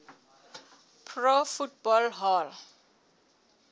pro football hall